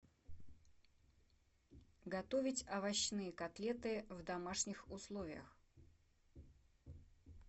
готовить овощные котлеты в домашних условиях